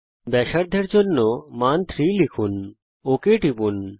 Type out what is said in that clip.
ব্যাসার্ধের জন্য মান 3 লিখুন ওক টিপুন